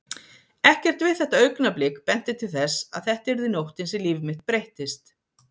Ekkert við þetta augnablik benti til þess að þetta yrði nóttin sem líf mitt breyttist.